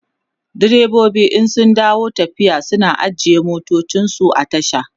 direbobi in sun dawo tafiya suna ajiye motansu a tasha